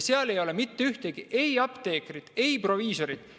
Seal ei ole mitte ühtegi apteekrit ega proviisorit.